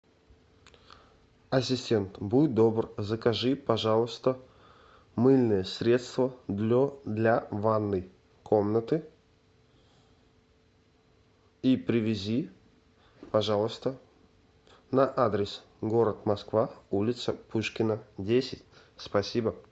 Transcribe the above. ассистент будь добр закажи пожалуйста мыльное средство для ванной комнаты и привези пожалуйста на адрес город москва улица пушкина десять спасибо